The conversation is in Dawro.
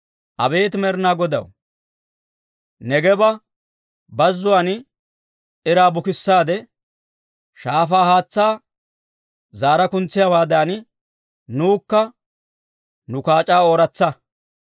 Abeet Med'inaa Godaw, Neegeeba Bazzuwaan iraa bukissaade, shaafaa haatsaa zaara kuntsiyaawaadan, nuwukka nu kaac'aa ooratsa.